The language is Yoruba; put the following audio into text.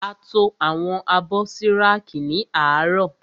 A to àwọn abọ́ sí rákì ní àárọ̀.